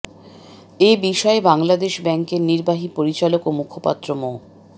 এ বিষয়ে বাংলাদেশ ব্যাংকের নির্বাহী পরিচালক ও মুখপাত্র মো